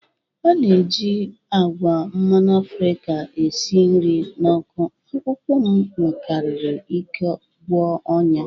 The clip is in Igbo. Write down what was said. A na-eji agwa mmanụ Afrika esi nri na ọkụ, akwụkwọ m nwekwara ike gwọọ ọnyá.